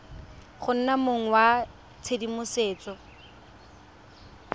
go nna mong wa tshedimosetso